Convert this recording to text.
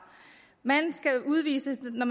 når